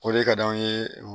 Ko de ka d'anw ye